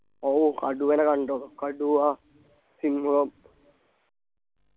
ഓ കടുവനെ കണ്ടോന്ന് കടുവ സിംഹം